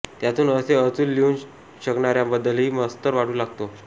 त्यातून असे अचूल लिहून शकणाऱ्यांबद्दलही मत्सर वाटू लागतो